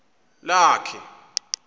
lakhe